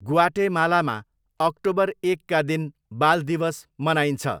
ग्वाटेमालामा, October एकका दिन बाल दिवस मनाइन्छ।